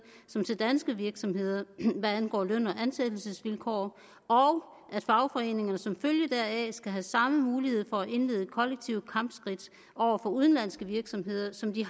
som til danske virksomheder hvad angår løn og ansættelsesvilkår og at fagforeningerne som følge deraf skal have samme mulighed for at indlede kollektive kampskridt over for udenlandske virksomheder som de